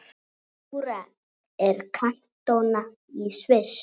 Júra er kantóna í Sviss.